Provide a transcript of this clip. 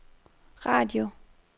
radio